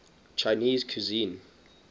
chinese cuisine